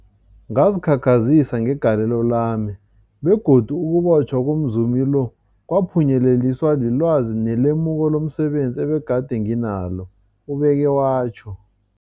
Ngazikhakhazisa ngegalelo lami, begodu ukubotjhwa komzumi lo kwaphunyeleliswa lilwazi nelemuko lomse benzi ebegade nginalo, ubeke watjho.